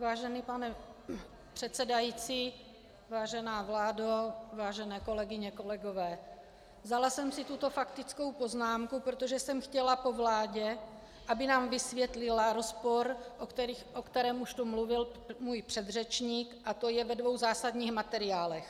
Vážený pane předsedající, vážená vládo, vážené kolegyně, kolegové, vzala jsem si tuto faktickou poznámku, protože jsem chtěla po vládě, aby nám vysvětlila rozpor, o kterém už tu mluvil můj předřečník, a to je ve dvou zásadních materiálech.